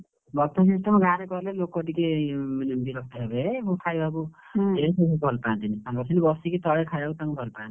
Buffet system ଗାଁରେ କଲେ ଲୋକ ଟିକେ ବିରକ୍ତ ହେବେ ଖାଇବାକୁ, ଭଲ ପାଆନ୍ତିନି, ତାଙ୍କର ସେମିତି ବସିକି ତଳେ ଖାୟା କୁ ଭଲ ପାଆନ୍ତି।